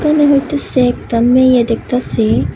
এহানে হইতাসে একতা মেয়ে দেখতাসি।